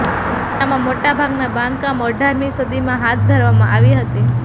તેમાંના મોટા ભાગના બાંધકામ અઢારમી સદીમાં હાથ ધરવામાં આવી હતી